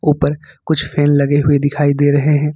ऊपर कुछ फैन लगे हुए दिखाई दे रहे हैं।